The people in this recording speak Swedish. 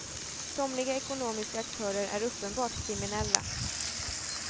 Somliga ekonomiska aktörer är uppenbart kriminella.